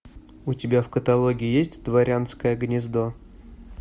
у тебя в каталоге есть дворянское гнездо